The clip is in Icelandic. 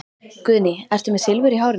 Guðný: Ertu með Silfur í hárinu?